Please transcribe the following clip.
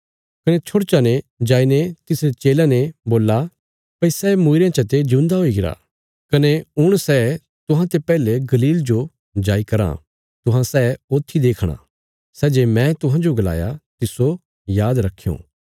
कने छोड़चा ने जाईने तिसरे चेलयां ने बोल्ला भई सै मूईरयां चते जिऊंदा हुईगरा कने हुण सै तुहां ते पैहले गलील जो जाई कराँ तुहां सै ऊत्थी देखणा सै जे मैं तुहांजो गलाया तिस्सो आद रखयों